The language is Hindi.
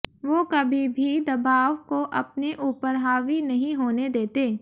वो कभी भी दबाव को अपने ऊपर हावी नहीं होने देते